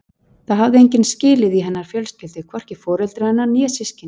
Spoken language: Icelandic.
Það hafði enginn skilið í hennar fjölskyldu, hvorki foreldrar hennar né systkini.